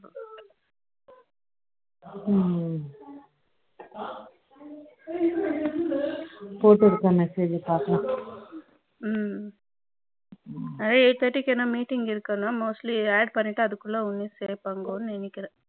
ம் ம் போட்டுவிடுபா message பாக்கலாம் eighty thirty க்கு என்ன meeting இருக்குன்னா mostly add அதுக்குள்ள பார்ப்பாங்க நினைக்கிறேன்